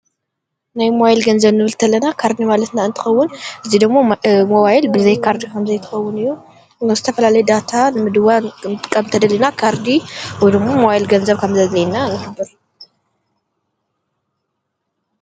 ናይ ሞባይል ገንዘብ እንትንብል ከለና ካርዲ ማለትና እንትኸውን እዙይ ደሞ ሞባይል ብዘይ ካርድ ኸም ዘይትኸውን እዩ። ዝተፈላለይ ዳታ ንምድዋል ክንጥቀም ተደሊና ካርዲ ወይ ድማ ሞባይል ገንዘብ ካም ዘድልየና ንሕብር።